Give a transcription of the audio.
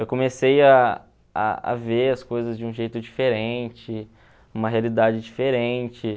Eu comecei a a a ver as coisas de um jeito diferente, uma realidade diferente.